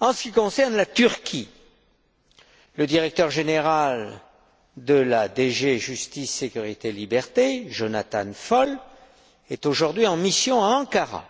En ce qui concerne la Turquie, le directeur général de la DG Justice, sécurité, liberté, Jonathan Faull, est aujourd'hui en mission à Ankara,